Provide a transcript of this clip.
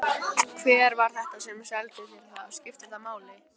Hver var þetta sem seldi þér það? Skiptir það máli?